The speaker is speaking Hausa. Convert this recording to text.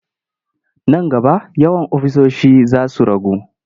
Nan gaba yawan ofisoshi za su ragu.